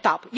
TAP.